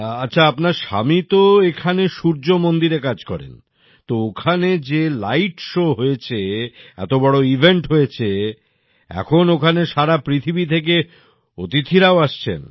আচ্ছা আপনার স্বামী তো এখানে সূর্য মন্দিরে কাজ করেন তো ওখানে যে লাইট শো হয়েছে এত বড় ইভেন্ট হয়েছে এখন ওখানে সারা পৃথিবী থেকে অতিথিরাও আসছেন